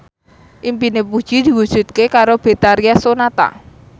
impine Puji diwujudke karo Betharia Sonata